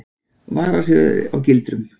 Varar sig á gildrum.